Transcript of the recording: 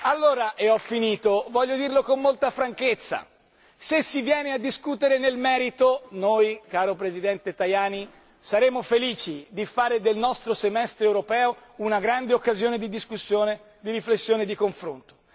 Allora voglio dirlo con molta franchezza se si viene a discutere nel merito, noi caro Presidente Tajani, saremo felici di fare del nostro Semestre europeo una grande occasione di discussione, di riflessione, di confronto.